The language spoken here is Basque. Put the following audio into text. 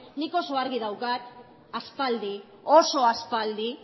nik oso argi daukat aspaldi oso aspaldi